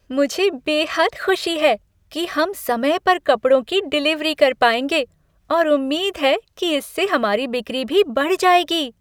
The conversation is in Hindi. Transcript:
मुझे बेहद खुशी है कि हम समय पर कपड़ों की डिलीवरी कर पाएंगे और उम्मीद है कि इससे हमारी बिक्री भी बढ़ जाएगी।